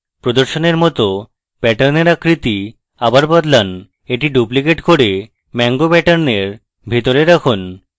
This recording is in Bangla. প্রদর্শনের মত প্যাটার্নের আকৃতি আবার বদলান এটি duplicate করে mango প্যাটার্নের ভিতর রাখুন